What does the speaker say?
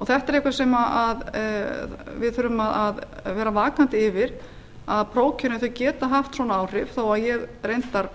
þetta er eitthvað sem við þurfum að vera vakandi yfir að prófkjörin geta haft svona áhrif þó ég reyndar